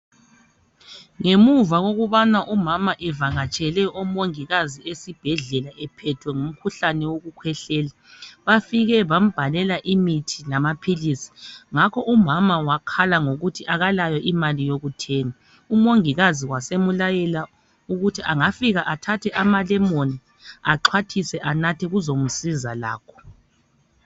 Ngemuva kokubana umama evakatshele omongikazi esibhedlela ephethwe ngumkhuhlane wokukhwehlela bafike bambhalela imithi lamaphilisi, ngakho umama wakhala ngokuthi akalayo imali yokuthenga, umongikazi wasemlayela ukuthi angafika athathe amalemoni axhwathise anathe kuzomsiza lakho.